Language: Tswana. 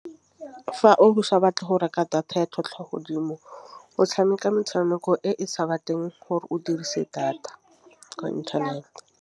Fa osa batle go reka data ya tlhotlhwa godimo o tšhameka metšhameko e sa batleng gore o dirise data ko internet.